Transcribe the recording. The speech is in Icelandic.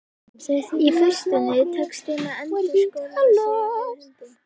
Í fyrstunni tekst þeim að einskorða sig við hundinn.